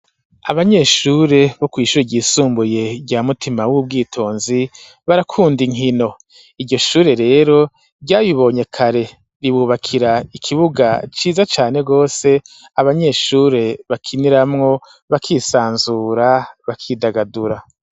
Abanyeshure bo kuishure ryisumbuye rya mutima w'ubwitonzi ,barakunda inkino iryoshure rero ryabibonye kare ,ribubakira ikibuga ciza cane gose ,abanyeshure bakiniramwo bakisanzura bakidagadura.